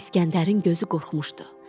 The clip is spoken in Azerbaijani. İsgəndərin gözü qorxmuşdu.